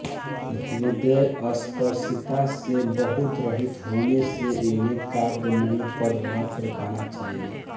हृदयस्पर्शिता से बहुत रहित होने से इन्हें काव्य नहीं पद्य मात्र कहना चाहिए